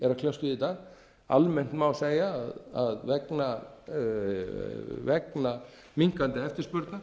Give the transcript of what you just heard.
að kljást við í dag almennt má segja að vegna minnkandi eftirspurnar